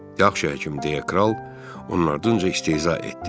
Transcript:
Yaxşı həkim, deyə kral onun ardınca istehza etdi.